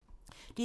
DR2